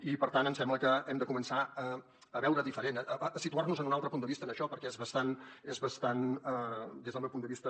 i per tant em sembla que hem de començar a veure ho diferent a situar nos en un altre punt de vista en això perquè és bastant des del meu punt de vista